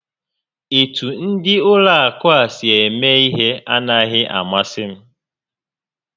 Etu ndị Ụlọ akụ a si eme ihe a naghị amasị m